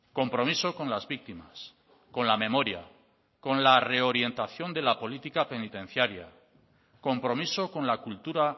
compromiso con las víctimas con la memoria con la reorientación de la política penitenciaria compromiso con la cultura